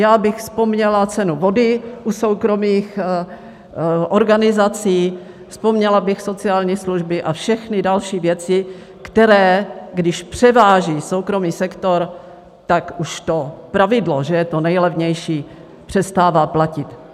Já bych vzpomněla cenu vody u soukromých organizací, vzpomněla bych sociální služby a všechny další věci, které když převáží soukromý sektor, tak už to pravidlo, že je to nejlevnější, přestává platit.